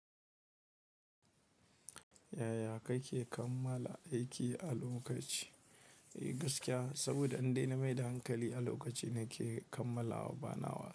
Yaya kake kammala aiki a lokaci? Gaskiya saboda in dai nameda hankali a lokaci nake kammalawa, banawa.